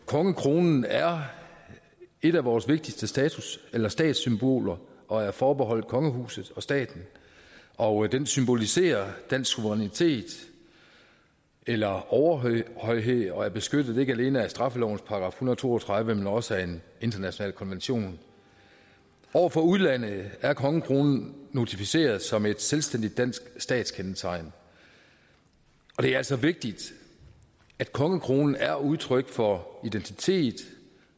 kongekronen er et af vores vigtigste statssymboler statssymboler og er forbeholdt kongehuset og staten og den symboliserer den suverænitet eller overhøjhed og er beskyttet ikke alene af straffelovens § en hundrede og to og tredive men også af en international konvention over for udlandet er kongekronen notificeret som et selvstændigt dansk statskendetegn og det er altså vigtigt at kongekronen er udtryk for identitet